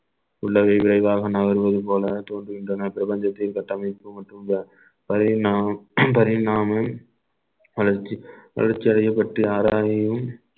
உள்ளதை விரைவாக நகர்வது போல தோன்றுகின்றன பிரபஞ்சத்தின் கட்டமைப்பு மற்றும் இந்த பரிணாம~ பரிணாமம் வளர்ச்சி வளர்ச்சி அடையப்பட்டு ஆராதனையும்